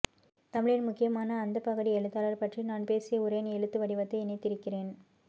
தமிழின் முக்கியமான அந்த பகடி எழுத்தாளர் பற்றி நான் பேசிய உரையின் எழுத்து வடிவத்தை இணைத்திருக்கிறேன்